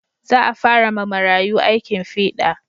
Za a fara ma marayu aikin fiɗa